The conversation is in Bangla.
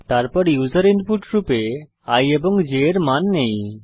তারপর আমরা ইউসার ইনপুট রূপে i এবং j এর মান নেই